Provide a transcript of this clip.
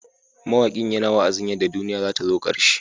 Mawakin yana wa'azin yadda duniya zata zo karshe.